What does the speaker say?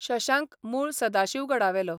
शशांक मूळ सदाशिवगडावेलो.